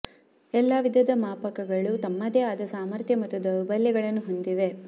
ಎಲ್ಲಾ ವಿಧದ ಮಾಪಕಗಳು ತಮ್ಮದೇ ಆದ ಸಾಮರ್ಥ್ಯ ಮತ್ತು ದೌರ್ಬಲ್ಯಗಳನ್ನು ಹೊಂದಿವೆ